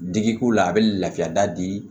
Digi k'u la a bɛ lafiya da di